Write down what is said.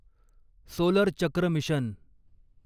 solar चक्र mission